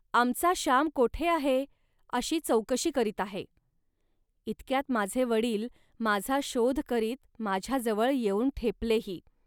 आमचा श्याम कोठे आहे, अशी चौकशी करीत आहे. इतक्यात माझे वडील माझा शोध करीत माझ्याजवळ येऊन ठेपलेही